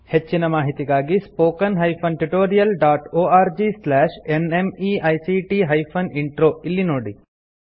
ಹೆಚ್ಚಿನ ಮಾಹಿತಿಗಾಗಿ spoken hyphen tutorial dot org slash NMEICT hyphen intro ಇಲ್ಲಿ ನೋಡಿ